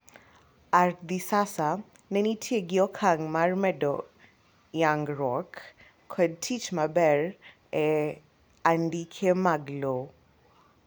ArdhiSasa ne nitie g okang' mar medo yangruok kod tich maber e andike mar lowo